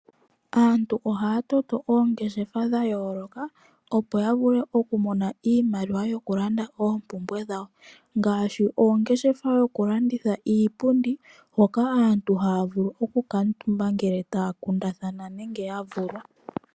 Aantu ohaya toto oongeshefa dha yooloka, opo ya vule okumona iimaliwa yokulanda oompumbwe dhawo ngaashi ongeshefa yokulanditha iipundi hoka aantu haya vulu okukaatumba nenge taya kundathana ngele ya vulwa.